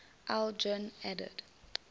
aldrin added